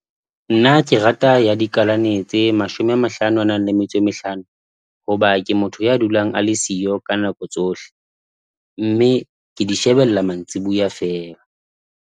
Nna ke rata ya dikalaneng tse mashome a mahlano a nang le metso e mehlano hoba ke motho ya dulang a le siyo ka nako tsohle, mme ke di shebella mantsiboya feela.